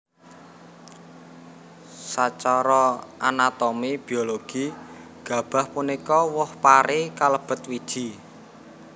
Sacara anatomi biologi gabah punika woh pari kalebet wiji